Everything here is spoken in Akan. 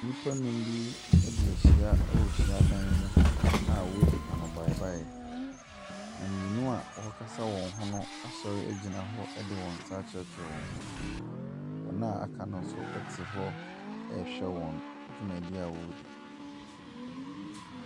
Nnipa num bi ɛdiahyia ɛwɔ hyiadan mu a wɔdi ano baeɛ baeɛ. Na mmienu ɔkasa wɔn ho no asɔre ɛgyina hɔ ɛde wɔn sa akyerɛkyerɛ wɔn ho so. Wɔn a aka no ɛnso ɛte hɔ ɛrehwɛ wɔn dwumadie a ɔredi.